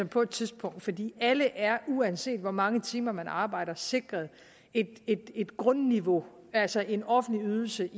på et tidspunkt fordi alle er uanset hvor mange timer man arbejder sikret et grundniveau altså en offentlig ydelse